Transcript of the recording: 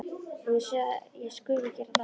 Og ég segist skulu gera það.